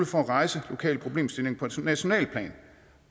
for at rejse lokale problemstillinger på nationalt plan